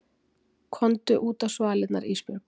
Komdu útá svalirnar Ísbjörg.